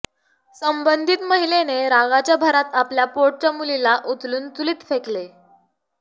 सबंधित महिलेने रागाच्या भरात आपल्या पोटच्या मुलीला उचलून चुलीत फेकले